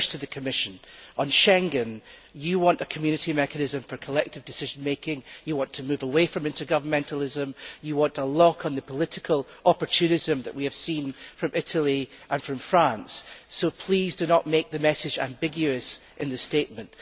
First to the Commission on Schengen, you want a Community mechanism for collective decision making, you want to move away from intergovernmentalism, you want a lock on the political opportunism that we have seen from Italy and from France. So please do not make the message ambiguous in the statement.